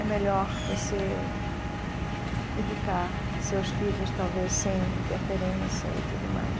É melhor você educar seus filhos talvez sem interferência e tudo mais.